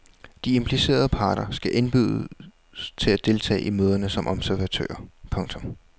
De implicerede parter skal indbydes til at deltage i møderne som observatører. punktum